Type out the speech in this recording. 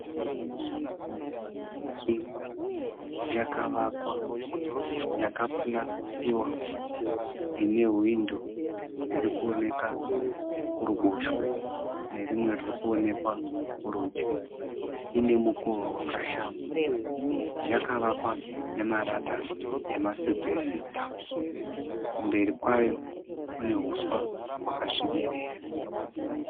Imba yakavakwa yaka purasitiwa ine hwindo ririkuoneka kuruboshwe, nerimwe ririkuonekwa kurudyi. Ine mukova wakashama. Yakavakwa nema rata ema asibhesita. Kumberi kwayo kune huswa hwakasvibirira.